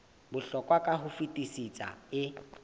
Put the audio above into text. bohlokwa ka ho fetisisa e